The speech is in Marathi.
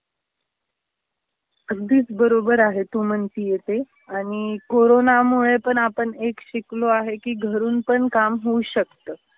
अगदीच बरोबर आहे तु म्हणतीये ते. आणि कोरोनामुळे पण आपण एक शिकलो आहे की घरून पण काम होऊ शकत.